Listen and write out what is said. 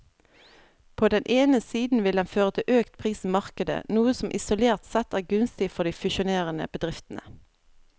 På den ene siden vil den føre til økt pris i markedet, noe som isolert sett er gunstig for de fusjonerende bedriftene.